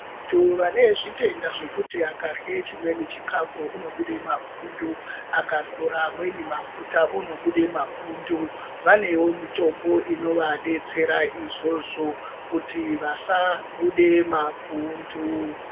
Vantu vane zvitenda zvekuti vakarye chmweni chikafu vanobude mapundu ,akazore amweni mafuta unobude mapundu vanewo mitombo inovadetsera izvozvo kuti vasabude mapundu.